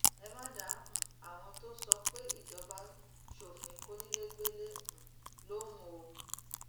ẹ má dá um àwọn tó sọ pé ìjọba ṣòfin kónílégbélé um lóhùn o